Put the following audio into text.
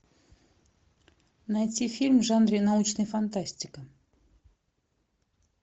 найти фильм в жанре научная фантастика